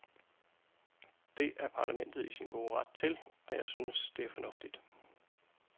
Det er parlamentet i sin gode ret til, og jeg synes, det er fornuftigt.